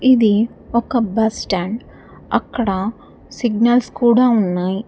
ఇది ఒక బస్టాండ్ అక్కడ సిగ్నల్స్ కూడా ఉన్నాయ్.